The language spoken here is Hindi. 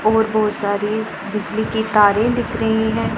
और बहोत सारी बिजली की तारे दिख रही है।